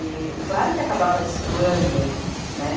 E, claro que acabava destoando, né?